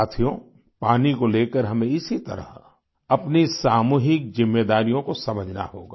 साथियो पानी को लेकर हमें इसी तरह अपनी सामूहिक जिम्मेदारियों को समझना होगा